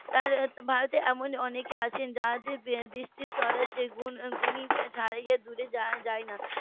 তাই ভারতে এমন অনেকে আছেন যাদের গুণ স্বরাজ্যের গুণী ছাড়িয়ে দূরে যায়না